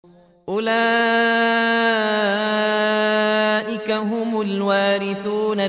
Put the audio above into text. أُولَٰئِكَ هُمُ الْوَارِثُونَ